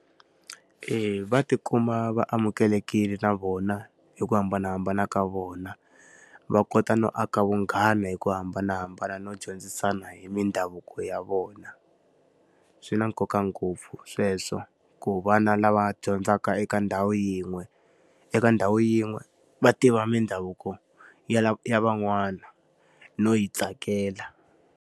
E va ti kuma va amukelekile na vona hi ku hambanahambana ka vona, va kota no aka vunghana hi ku hambanahambana no dyondzisana hi mindhavuko ya vona. Swi na nkoka ngopfu sweswo, ku vana lava dyondzaka eka ndhawu yin'we eka ndhawu yin'we va tiva mindhavuko ya ya van'wana no yi tsakela.